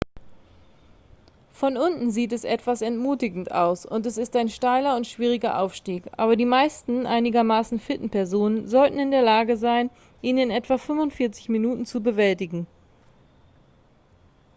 von unten sieht es etwas entmutigend aus und es ist ein steiler und schwieriger aufstieg aber die meisten einigermaßen fitten personen sollten in der lage sein ihn in etwa 45 minuten zu bewältigen